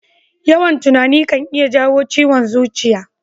Yawan tunani kan iya jawo ciwon zuciya.